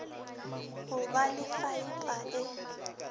go ba le faepa e